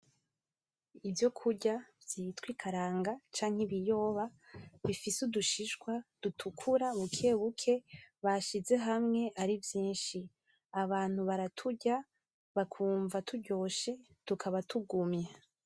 Ivyo kurya vyitwa ikaranga canke ibiyoba bifise udushishwa dutukura bukebuke bashize hamwe ari vyishi . Abantu baraturya bakumva turyoshe tukaba tukaba tugumye.